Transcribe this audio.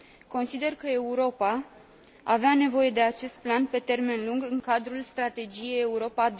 Consider că Europa avea nevoie de acest plan pe termen lung în cadrul Strategiei Europa